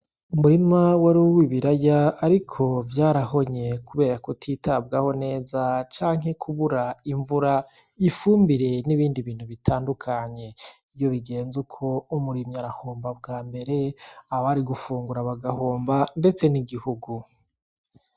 Umurima wari uw'ibiraya ariko vyarahonye kubera ko utitabwaho neza canke kubura imvura, ifumbire n'ibindi bintu bitandukanye. Iyo bigenze uko umurimyi arahomba ubwa mbere, abari gufungura bagahomba ndetse n'igihugu.